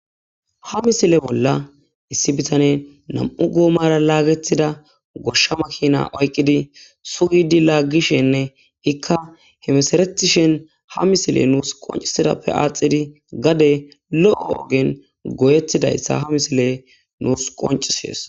Ha misile bolla issi bitane nam7u goomara laagetida goshsha makina oyqqidi sugidi laaggishenne ikka hemesaretishen ha misile nuus qoncisidappe aaxidi gade lo7o ogen goyettidayssa ha misile nuus qoncisies.